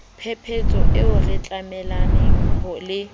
phephetso eo re tjamelaneng le